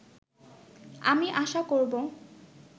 আমি আশা করবো